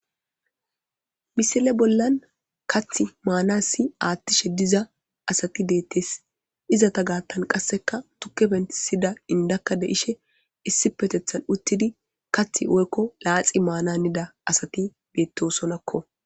Misile bollan kaththi maanaassi aaththishe diza asathi deththees; izatha gaththan qassikka thukke penththissida inddakka de7ishin issippetheththan uththide daabbo xaaxi maanaanida asthi beeththoosonakko.